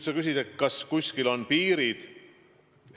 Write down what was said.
Sa küsisid, kas kuskil on piirid.